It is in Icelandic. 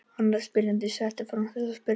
Annar spyrjandi setti fram þessa spurningu: